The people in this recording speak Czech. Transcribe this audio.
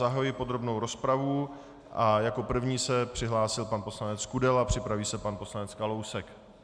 Zahajuji podrobnou rozpravu a jako první se přihlásil pan poslanec Kudela, připraví se pan poslanec Kalousek.